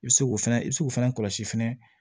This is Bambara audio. I bɛ se k'o fɛnɛ i bɛ se k'o fana kɔlɔsi fɛnɛ